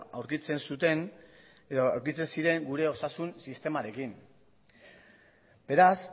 aurkitzen zuten edo aurkitzen ziren gure osasun sistemarekin beraz